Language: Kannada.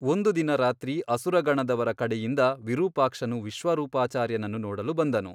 ಒಂದು ದಿನ ರಾತ್ರಿ ಅಸುರಗಣದವರ ಕಡೆಯಿಂದ ವಿರೂಪಾಕ್ಷನು ವಿಶ್ವರೂಪಾಚಾರ್ಯನನ್ನು ನೋಡಲು ಬಂದನು.